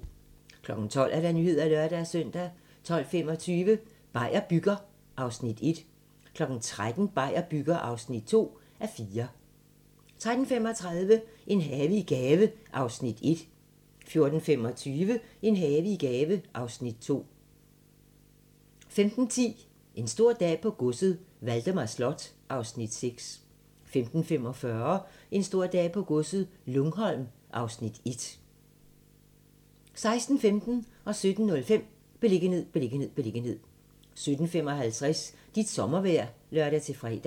12:00: Nyhederne (lør-søn) 12:25: Beier bygger (1:4) 13:00: Beier bygger (2:4) 13:35: En have i gave (Afs. 1) 14:25: En have i gave (Afs. 2) 15:10: En stor dag på godset - Valdemar Slot (Afs. 6) 15:45: En stor dag på godset - Lungholm (Afs. 1) 16:15: Beliggenhed, beliggenhed, beliggenhed 17:05: Beliggenhed, beliggenhed, beliggenhed 17:55: Dit sommervejr (lør-fre)